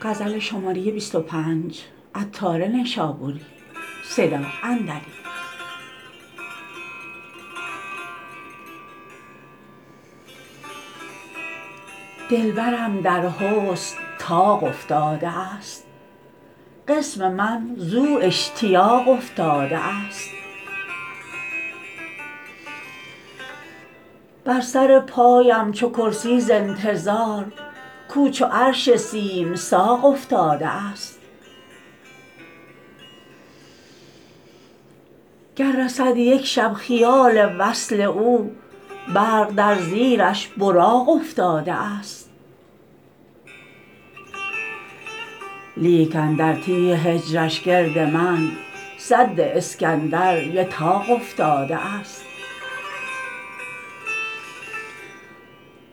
دلبرم در حسن طاق افتاده است قسم من زو اشتیاق افتاده است بر سر پایم چو کرسی ز انتظار کو چو عرش سیم ساق افتاده است گر رسد یک شب خیال وصل او برق در زیرش براق افتاده است لیک اندر تیه هجرش گرد من سد اسکندر یتاق افتاده است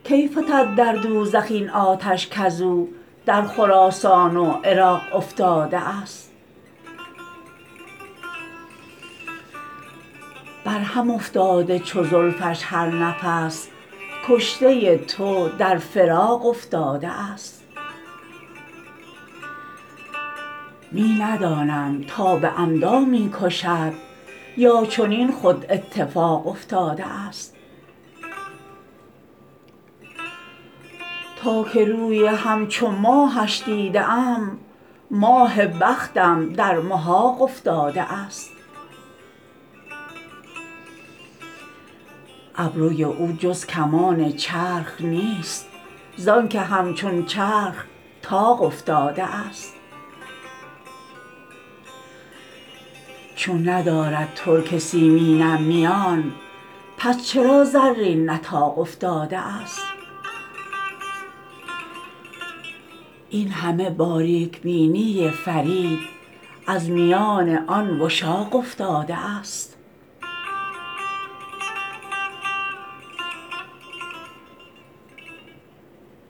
کی فتد در دوزخ این آتش کزو در خراسان و عراق افتاده است بر هم افتاده چو زلفش هر نفس کشته تو در فراق افتاده است می ندانم تا به عمدا می کشد یا چنین خود اتفاق افتاده است تا که روی همچو ماهش دیده ام ماه بختم در محاق افتاده است ابروی او جز کمان چرخ نیست زانکه همچون چرخ طاق افتاده است چون ندارد ترک سیمینم میان پس چرا زرین نطاق افتاده است این همه باریک بینی فرید از میان آن وشاق افتاده است